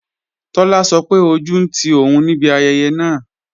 Tọ́lá sọ pé ojú ń ti òun níbi ayẹyẹ náà